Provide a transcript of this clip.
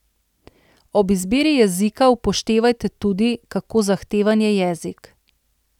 Ob izbiri jezika upoštevajte tudi, kako zahteven je jezik.